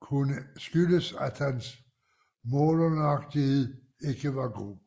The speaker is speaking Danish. kunne skyldes at hans målenøjagtighed ikke var god